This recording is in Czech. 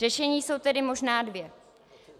Řešení jsou tedy možná dvě.